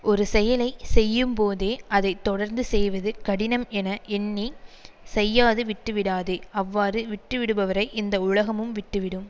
ஒரு செயலை செய்யும்போதே அதை தொடர்ந்து செய்வது கடினம் என எண்ணி செய்யாது விட்டுவிடாதே அவ்வாறு விட்டுவிடுபவரை இந்த உலகமும் விட்டு விடும்